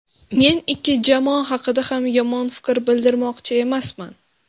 Men ikki jamoa haqida ham yomon fikr bildirmoqchi emasman.